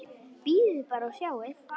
Bíðið bara og sjáið!